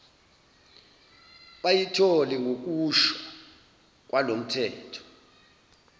bayithole ngokusho kwalomthetho